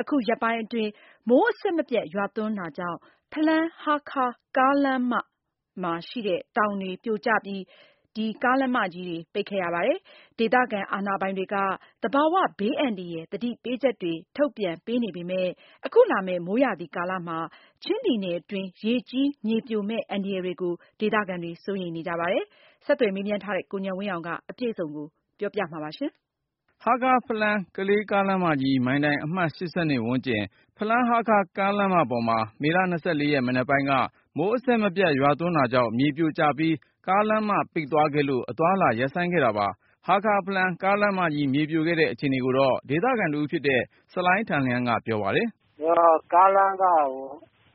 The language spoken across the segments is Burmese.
အခုရက်ပိုင်းအတွင်း မိုးအဆက်မပြတ် ရွာသွန်းတာကြောင့် ဖလမ်း-ဟားခါး ကားလမ်းမဘေးက တောင်ပြိုကျပြီး ကားလမ်းမ ပိတ်ခဲ့ရပါတယ်။ ဒေသခံအာဏာပိုင်တွေက သဘာ၀ ဘေးအန္တရာယ် သတိပေးချက်တွေ ထုတ်ပြန်ပေးနေပေမဲ့ အခုလာမယ့် မိုးရာသီကာလမှာ ချင်းပြည်နယ်အတွင်း ရေကြီး မြေပြိုမယ့် အန္တရာယ်တွေကို ဒေသခံတွေ စိုးရိမ်နေကြတာပါ။ အသေးစိတ်ကို ကိုဉာဏ်ဝင်းအောင်က တင်ပြထားပါတယ်။ ဟားခါး-ဖလမ်း-ကလေး ကားလမ်းမကြီး မိုင်တိုင်အမှတ် ၈၂ ဝန်းကျင်၊ ဖလမ်း-ဟားခါး ကားလမ်းမပေါ်မှာ မေလ ၂၄ ရက် မနက်ပိုင်းက မိုး အဆက်မပြတ် ရွာသွန်းတာကြောင့် မြေပြိုကျပြီး ကားလမ်းမ ပိတ်သွားခဲ့လို့ အသွားအလာ ခေတ္တရပ်ဆိုင်းခဲ့တာပါ။ ဟားခါး-ဖလမ်း လမ်းမကြီး မြေပြိုတဲ့ အခြေအနေကိုတော့ ဒေသခံတဦးဖြစ်တဲ့ ဆလိုင်းထန်လျန်းက ပြောပါတယ်။ “ကားလမ်းက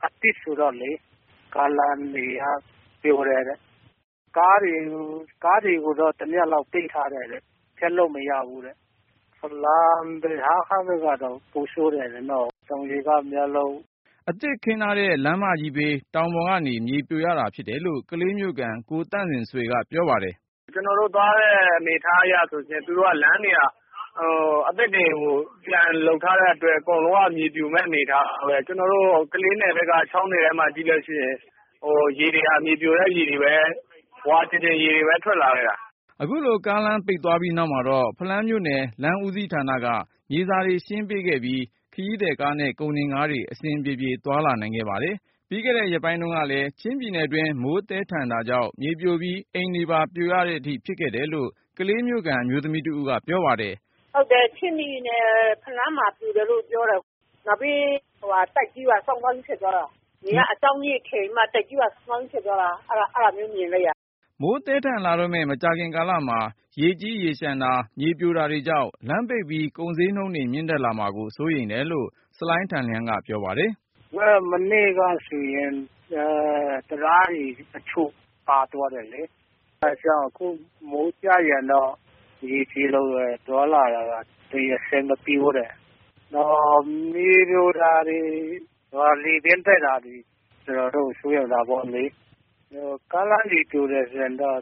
အသစ်ဆိုတော့လေ ကားလမ်းတွေပြိုတယ်။ ကားတွေကိုတော့ တညလောက် သိပ်ထားတယ်တဲ့။ ခရီးဆက်လို့မရဘူးတဲ့။ ဖလမ်း-ဟားခါးဘက်ကတော့ ပိုဆိုးတယ်တဲ့နော်။” အသစ်ခင်းထားတဲ့ လမ်းမကြီးဘေး တောင်ပေါ်ကနေ မြေပြိုရတာဖြစ်တယ်လို့ ကလေးမြို့ခံ ကိုသန့်ဇင်ဆွေက ပြောပါတယ်။ “ကျနော်တို့သွားတဲ့အနေအထားအရဆိုရင် သူတို့က လမ်းတွေက အသစ်တွေကို ပြန်လုပ်ထားတဲ့အတွက် အကုန်လုံးက မြေပြိုမယ့်အနေအထားပဲ။ ကျနော်တို့ ကလေးနယ်ဘက်က ချောင်းထဲမှာကြည့်လို့ရှိရင် ရေတွေက မြေပြိုတဲ့ ရေတွေပဲ ဝါကျင်ကျင်ရေတွေပဲ ထွက်လာခဲ့တာ။” အခုလို ကားလမ်း ပိတ်သွားပြီးနောက်မှာတော့ ဖလမ်းမြို့နယ် လမ်းဦးစီးဌာနက မြေစာတွေ ရှင်းလင်းပေးခဲ့ပြီး ခရီးသည်ကားနဲ့ ကုန်တင်ကားတွေ အဆင်ပြေပြေ သွားလာနိုင်ခဲ့ပါတယ်။ ပြီးခဲ့တဲ့ ရက်ပိုင်းတုန်းကလည်း ချင်းပြည်နယ်တွင်း မိုးသည်းထန်တာကြောင့် မြေပြိုပြီး အိမ်တွေပါ ပြိုတဲ့အထိ ဖြစ်ခဲ့တယ်လို့ ကလေးမြို့ခံ အမျိုးသမီးတဦးက ပြောပါတယ်။ “ဟုတ်တယ် ချင်းပြည်နယ် ဖလန်းမှာ ပြိုတယ်လို့ ပြောတယ်။ နောက်ပြီး တိုက်ကြီးပါ စောင်းစောင်းကြီး ဖြစ်သွားတာ။ အဲဒါမျိုး မြင်လိုက်ရတယ်။” မိုးသည်းထန်လာတော့မယ့် မကြာခင်ကာလမှာ ရေကြီးရေလျှံတာ၊ မြေပြိုတာတွေကြောင့် လမ်းပိတ်ပြီး ကုန်ဈေးနှုန်းတွေ မြင့်တက်လာမှာကို စိုးရိမ်တယ်လို့ ဆလိုင်းထန်လျန်းက ပြောပါတယ်။ “မနေ့ကဆိုရင် တံတားတချို့ ရေထဲ မျောသွားတယ်။ အဲဒါကြောင့် အခု မိုးကျရင်တော့ ရေကြီးလို့ သွားလာရတာ အဆင်မပြေဘူး။ နောက် မြေပြိုတာတွေ၊ လေပြင်းတိုက်တာတွေ ကျနော်တို့ စိုးရိမ်တာပေါ့လေ။ ကားလမ်းတွေ ပြိုတယ်ဆိုရင်တော့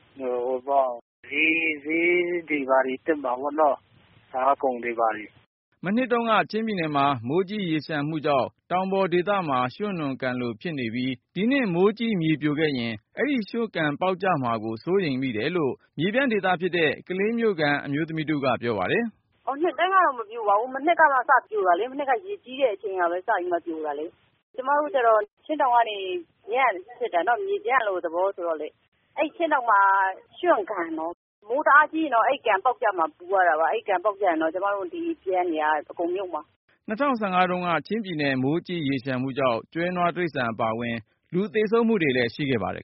ဈေးတွေ ဘာတွေ တက်မှာပေါ့နော်။ စားကုန်တွေဘာတွေ။” မနှစ်တုန်းက ချင်းပြည်နယ်မှာ မိုးကြီးရေလျှံမှုကြောင့် တောင်ပေါ်ဒေသမှာ ရွှံ့နွံကန်လို ဖြစ်နေပြီး ဒီနှစ် မိုးကြီးမြေပြိုခဲ့ရင် အဲဒီရွှံ့ကန်ပေါက်ကျမှာကို စိုးရိမ်တယ်လို့ မြေပြန့်ဒေသဖြစ်တဲ့ ကလေးမြို့ခံ အမျိုးသမီးတဦးက ပြောပါတယ်။ “နှစ်တိုင်းကတော့ မပြိုပါဘူး။ မနှစ်ကစပြီး ပြိုတာလေ။ မနှစ်က ရေကြီးတဲ့အချိန်ကပဲ စပြီးမှ ပြိုတာလေ။ ကျမတို့ကျတော့ ချင်းတောင်ကနေ မြေပြန့်လိုသဘောဆိုတော့လေ အဲဒီချင်းတောင်မှာ ရွှံ့ကန်နော် မိုးတအားကြီးရင်တော့ အဲဒီကန် ပေါက်ကျလာမှာ ပူရတာပါ။ အဲဒီကန်ပေါက်ကျလာရင် ကျမတို့ မြေပြန့်တွေက အကုန်မြုပ်မှာ။” ၂၀၁၅ တုန်းက ချင်းပြည်နယ် မိုးကြီးရေလျှံမှုကြောင့် ကျွဲနွားတိရစ္ဆာန် အပါအဝင် လူသေဆုံးမှုတွေ ရှိခဲ့ပါတယ်